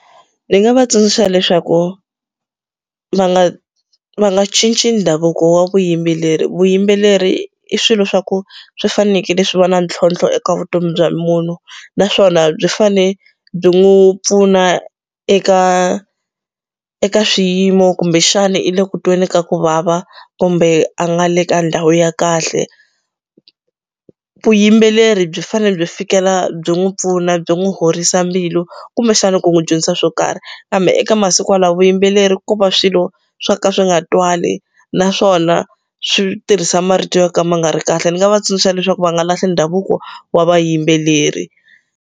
Ndzi nga va tsundzuxa leswaku va nga va nga cinci ndhavuko wa vuyimbeleri vuyimbeleri i swilo swa ku swi fanekele swi va na ntlhontlho eka vutomi bya munhu naswona byi fane byi n'wi pfuna eka eka swiyimo kumbexana i le ku tweni ka ku vava kumbe a nga le ka ndhawu ya kahle vuyimbeleri byi fane byi fikela byi n'wi pfuna byi n'wi horisa mbilu kumbexana ku n'wi dyondzisa swo karhi kambe eka masiku lawo vuyimbeleri ko va swilo swo ka swi nga twali naswona swi tirhisa marito yo ka ma nga ri kahle ni nga va tsundzuxa leswaku va nga lahli ndhavuko wa vayimbeleri.